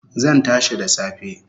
Zan tashi da safe